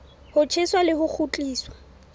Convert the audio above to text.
ho tjheswa le ho kgutliswa